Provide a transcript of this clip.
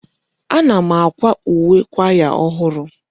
Ana m akwa uwe kwaya ọhụrụ.